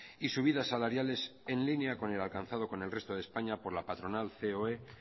y subidas salariales en línea con el alcanzado con el resto de españa por la patronal ceoe